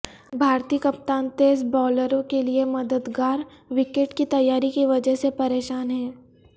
بھارتی کپتان تیز باولروں کے لیے مددگار وکٹ کی تیاری کی وجہ سے پریشان ہیں